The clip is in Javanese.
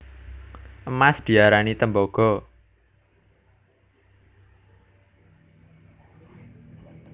Emas diarani tembaga